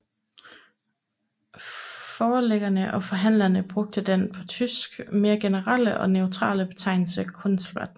Forlæggere og forhandlere brugte den på tysk mere generelle og neutrale betegnelse Kunstblatt